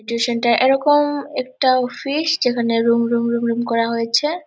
Tuition -টা এরকম একটা অফিস যেখানে রুম রুম রুম রুম করা হয়েছে।